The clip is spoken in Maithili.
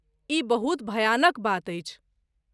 ई बहुत भयानक बात अछि।